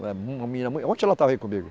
Uma menina mui. Ontem ela estava aí comigo?